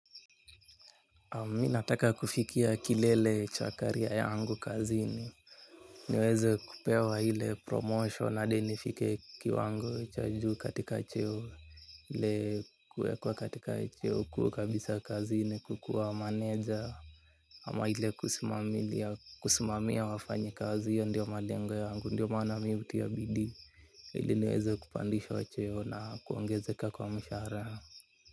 Mi nataka kufikia kilele cha kariya yangu kazini. Niweze kupewa ile promotion hadi nifike kiwango cha juu katika cheo. Ile kuwekwa katika cheo kuu kabisa kazini kukuwa maneja. Ama ile kusimamia wafanyakazi hiyo ndiyo malengo yangu, ndiyo maana mihutia bidii. Ili niweze kupandishwa cheo na kuongezeka kwa mshahara.